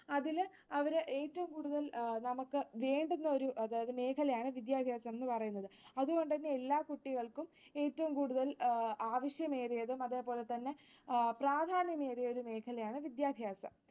അതില് അവര് ഏറ്റവും കൂടുതൽ നമുക്ക് വേണ്ടുന്ന ഒരു മേഖലയാണ് വിദ്യാഭ്യാസമെന്നു പറയുന്നത്. അതുകൊണ്ടുതന്നെ എല്ലാ കുട്ടികൾക്കും ഏറ്റവും കൂടുതൽ ആവശ്യമേറിയതും അതേപോലെതന്നെ പ്രാധാന്യമേറിയ ഒരു മേഖലയാണ് വിദ്യാഭ്യാസം.